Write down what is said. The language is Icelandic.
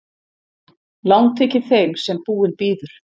Langt þykir þeim sem búinn bíður.